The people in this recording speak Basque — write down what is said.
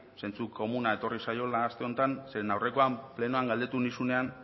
zentzu komuna etorri zaiola aste honetan zeren aurrekoan plenoan galdetu nizunean